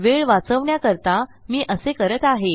वेळ वाचवण्याकरता मी असे करत आहे